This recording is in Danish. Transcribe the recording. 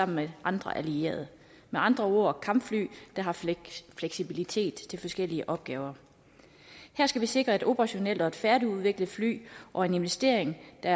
med andre allierede med andre ord kampfly der har fleksibilitet til forskellige opgaver her skal vi sikre et operationelt og et færdigudviklet fly og en investering der